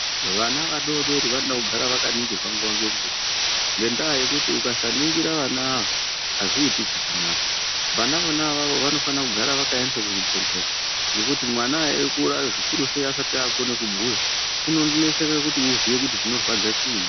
Vana vadoodori vanoda kugara vakaningirwa nguwa ngenguwa ngendaa yokuti ukasaningira vana ava azviiti chakanaka, vana vona avavo vanofane kugare vakaendeswa kuzvibhedhlera ngokuti mwana eikura zvikuru sei asati akugone kubhuya unonetseka kuti oziye kuti chinorwadza chiini.